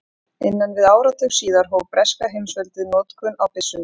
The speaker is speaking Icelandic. Innan við áratug síðar hóf breska heimsveldið notkun á byssunni.